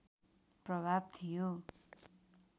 प्रभाव थियो